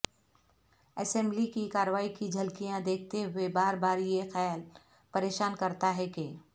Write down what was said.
assembly کی کاروائی کی جھلکیاں دیکھتے ہوئے بار بار یہ خیال پریشان کرتا ہے کہ